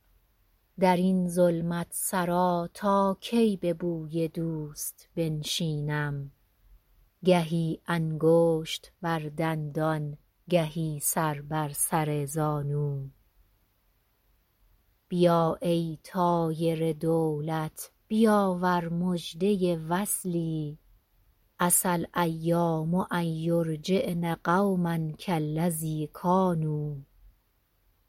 در این ظلمت سرا تا کی به بوی دوست بنشینم گهی انگشت بر دندان گهی سر بر سر زانو بیا ای طایر دولت بیاور مژده وصلی عسی الایام ان یرجعن قوما کالذی کانوا